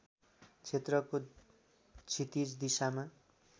क्षेत्रको क्षितिज दिशामा